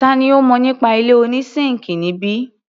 Tani ó mọ nípa ilé oní síńkì níbí?